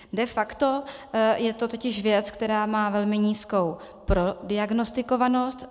De facto je to totiž věc, která má velmi nízkou prodiagnostikovanost.